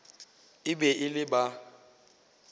e be e le ba